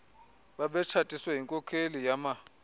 babetshatiswe yinkokheli yama